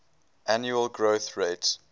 annual growth rate